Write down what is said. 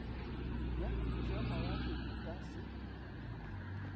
ya mošamawatle e ka se